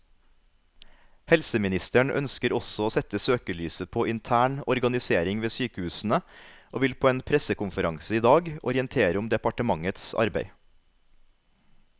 Helseministeren ønsker også å sette søkelyset på intern organisering ved sykehusene, og vil på en pressekonferanse i dag orientere om departementets arbeid.